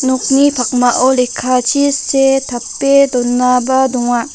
nokni pakmao lekkachi see tape donaba donga.